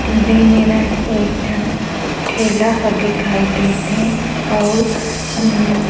दे मेरन एक ठन ठेला ह दिखाई देत हे अउ हम्म--